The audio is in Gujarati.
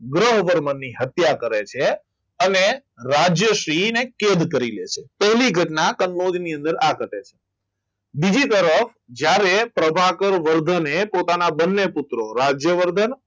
ગ્રહ પર હત્યા કરે છે અને રાજ્યશ્રીને કેદ કરી લે છે એવી ઘટના કનોજ ની અંદર આ ઘટે છે બીજી તરફ જ્યારે પ્રભાકર વર્ધને પોતાના બંને પુત્ર રાજ્યવર્ધન